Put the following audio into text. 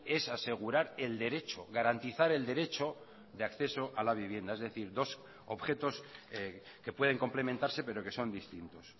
es asegurar el derecho garantizar el derecho de acceso a la vivienda es decir dos objetos que pueden complementarse pero que son distintos